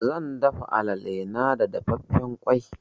Zan dafa alale na da dafaffen ƙwai.